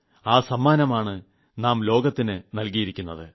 ആ സമ്മാനമാണ് നാം ലോകത്തിന് നൽകിയിക്കുത്